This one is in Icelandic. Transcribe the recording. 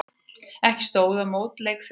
Ekki stóð á mótleik Þjóðverja.